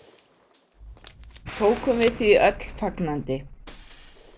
Tókum við því öll fagnandi.